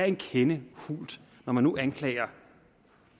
en kende hult når man nu anklager